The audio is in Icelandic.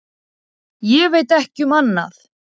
Ég veit ekki um annað.